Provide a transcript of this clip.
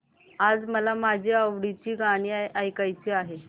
आज मला माझी आवडती गाणी ऐकायची आहेत